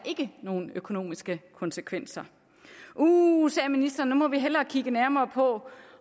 nogen økonomiske konsekvenser uh sagde ministeren nu må vi hellere kigge nærmere på